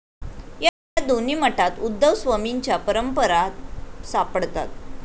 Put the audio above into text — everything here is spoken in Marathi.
या दोन्ही मठात उद्धवस्वमींच्या परंपरा सापडतात.